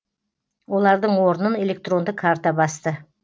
олардың орнын электронды карта басты